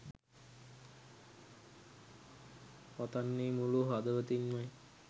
පතන්නේ මුලු හදවතින්මයි